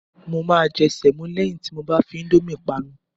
Mo máa jẹ sẹ̀mọ́ lẹ́yìn tí mo bá fi íńdómì panu.